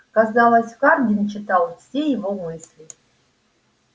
казалось хардин читал все его мысли